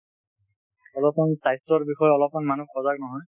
অলপমান স্বাস্থ্যৰ বিষয়ে অলপমান মানু্হ সজাগ নহয় ।